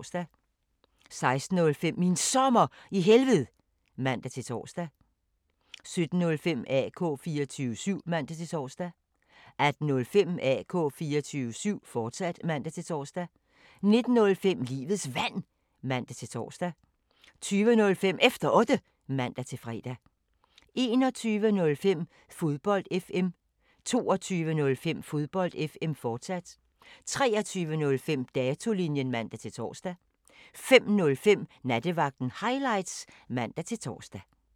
16:05: Min Sommer i Helved (man-tor) 17:05: AK 24syv (man-tor) 18:05: AK 24syv, fortsat (man-tor) 19:05: Livets Vand (man-tor) 20:05: Efter Otte (man-fre) 21:05: Fodbold FM 22:05: Fodbold FM, fortsat 23:05: Datolinjen (man-tor) 05:05: Nattevagten Highlights (man-tor)